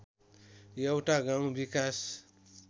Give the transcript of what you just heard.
एउटा गाउँ विकास